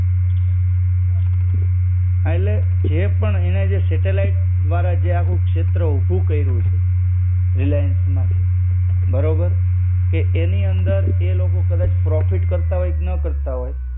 આ એટલે જે પણ એને જે સેટેલાઇટ દ્વારા જે આખું ક્ષેત્ર ઊભું કર્યું છે. રિલાયન્સ માંથી. બરોબર કે એની અંદર એ લોકો કદાચ પ્રોફિટ કરતા હોય કે ન કરતા હોય